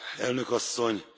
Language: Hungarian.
Elnök Asszony!